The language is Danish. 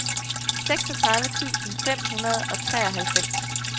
seksogtredive tusind fem hundrede og treoghalvfems